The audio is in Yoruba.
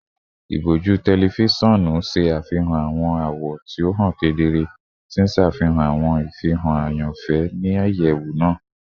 Iboju tẹlifisiọnu ṣe afihan awọn awọ ti o han kedere, ti n ṣafihan awọn ifihan ayanfẹ ni iyẹwu naa